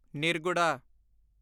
ਨਿਰਗੁੜਾ